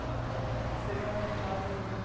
Sabe que seriam resultados...